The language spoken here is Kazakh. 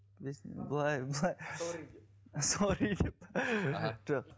бетімді былай былай сорри деп сорри деп аха жоқ